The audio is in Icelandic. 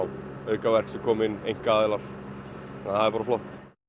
aukaverk sem koma inn einkaaðilar svo það er bara flott